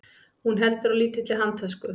Hún heldur á lítilli handtösku.